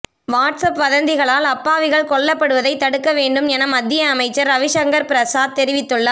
what's up வதந்திகளால் அப்பாவிகள் கொல்லப்படுவதை தடுக்க வேண்டும் என மத்திய அமைச்சர் ரவிசங்கர் பிரசாத் தெரிவித்துள்ளார்